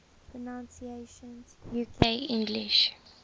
pronunciations uk english